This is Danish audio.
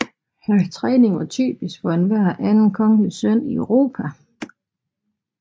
Hans træning var typisk for enhver anden kongelig søn i Europa